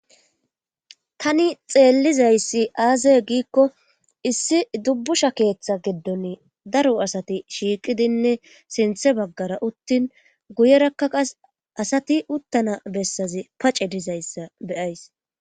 tani xeellizayssi aazee giikko issi dubbusha keeththa giddon daro asati shiiqidinne sinthe baggara uttin guyerakka qasi asati uttana bessazi pace dizayssa beyays